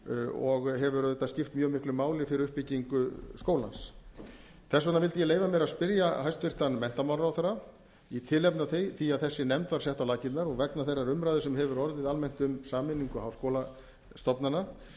og hefur auðvitað skipt mjög miklu máli fyrir uppbyggingu skólans þess vegna vildi ég leyfa mér að spyrja hæstvirtan menntamálaráðherra í tilefni af því að þessi nefnd var sett á laggirnar og vegna þeirrar umræðu sem hefur orðið almennt um sameiningu háskólastofnana